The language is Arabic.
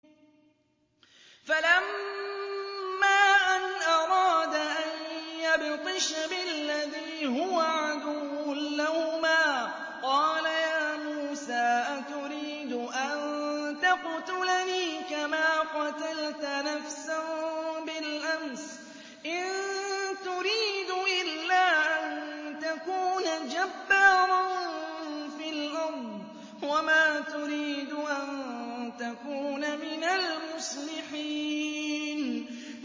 فَلَمَّا أَنْ أَرَادَ أَن يَبْطِشَ بِالَّذِي هُوَ عَدُوٌّ لَّهُمَا قَالَ يَا مُوسَىٰ أَتُرِيدُ أَن تَقْتُلَنِي كَمَا قَتَلْتَ نَفْسًا بِالْأَمْسِ ۖ إِن تُرِيدُ إِلَّا أَن تَكُونَ جَبَّارًا فِي الْأَرْضِ وَمَا تُرِيدُ أَن تَكُونَ مِنَ الْمُصْلِحِينَ